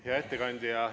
Hea ettekandja!